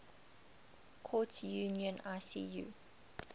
courts union icu